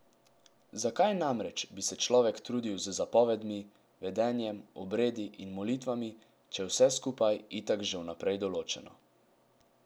Zakaj namreč bi se človek trudil z zapovedmi, vedenjem, obredi in molitvami, če je vse skupaj itak že vnaprej določeno?